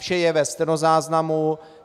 Vše je ve stenozáznamu.